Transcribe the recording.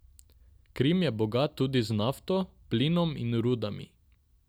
Krim je bogat tudi z nafto, plinom in rudami.